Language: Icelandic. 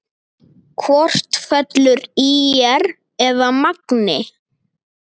Hvort fellur ÍR eða Magni?